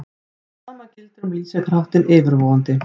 Sama gildir um lýsingarháttinn yfirvofandi.